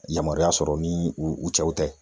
Yamaruya sɔrɔ ni u u cɛw tɛ.